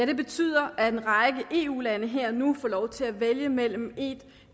det betyder at en række eu lande her og nu får lov til at vælge mellem en